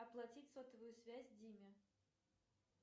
оплатить сотовую связь диме